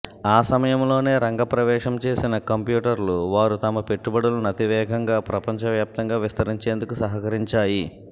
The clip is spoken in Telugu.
ఆ సమయంలోనే రంగప్రవేశం చేసిన కంప్యూటర్లు వారు తమ పెట్టుబడులను అతివేగంగా ప్రపంచవ్యాప్తంగా విస్తరించేందుకు సహకరించాయి